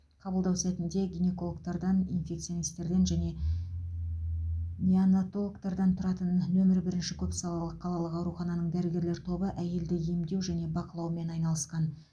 қабылдау сәтінде гинекологтардан инфекционистерден және неонатологтардан тұратын нөмірі бірінші көпсалалы қалалық аурухананың дәрігерлер тобы әйелді емдеу және бақылаумен айналысқан